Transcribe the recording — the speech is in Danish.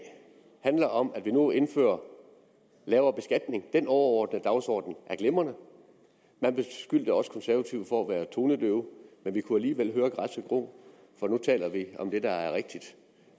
handler om at vi nu indfører lavere beskatning den overordnede dagsorden er glimrende man beskyldte os konservative for at være tonedøve men vi kunne alligevel høre græsset gro for nu taler vi om det der er rigtigt